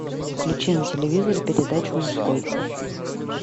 включи на телевизоре передачу мужской